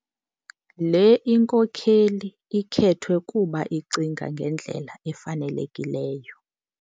Le inkokeli khethwe kuba icinga ngendlela efanelekileyo